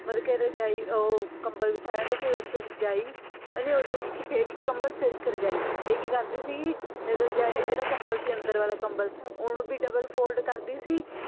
ਮਤਲਬ ਕਿ ਰਜਾਈ ਓਹੋ ਕਮਬਲ ਬਿਛਾਇਆ ਹੁੰਦਾ ਸੀ ਉਪਰ ਰਜਾਈ ਨਹੀਂ ਓਹਦੇ ਵਿਚ ਫੇਰ ਇੱਕ ਕਮਬਲ ਫੇਰ ਇੱਕ ਰਜਾਈ ਇਹ ਕੀ ਕਰਦੀ ਸੀ ਰਜਾਈ ਜਿਹੜਾ ਕਮਬਲ ਸੀ ਅੰਦਰ ਵਾਲਾ ਕਮਬਲ ਓਹਨੂੰ ਵੀ double fold ਕਰਦੀ ਸੀ